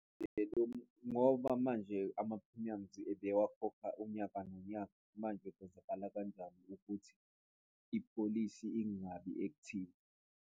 Ngoba manje ama-premiums ebewakhohlwa unyaka nonyaka, manje kwenzakala kanjani ukuthi ipholisi ingabi active?